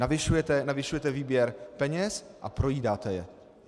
Navyšujete výběr peněz a projídáte je.